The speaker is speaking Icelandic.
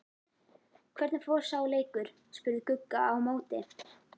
Hvernig fór sá leikur? spurði Gugga á móti.